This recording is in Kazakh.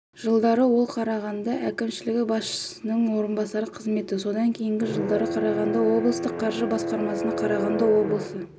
жылдары ол қарағанды әкішілігі басшысының орынбасары қызметінде содан кейінгі жылдары қарағанды облыстық қаржы басқармасын қарағанды облысы